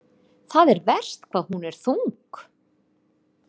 Það er verst hvað hún er þung.